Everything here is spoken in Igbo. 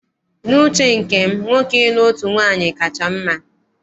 N'uche nke m, nwoke ịlụ otu nwaanyị kacha mma